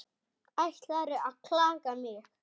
Ætlarðu að klaga mig?